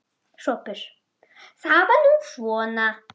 SOPHUS: Það er nú svona.